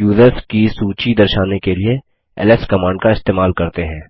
users की सूची दर्शाने के लिए एलएस कमांड का इस्तेमाल करते हैं